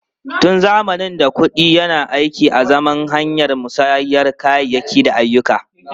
Tun zamanin da, kuɗi yana aiki azaman hanyar musayar kayayyaki da ayyuka.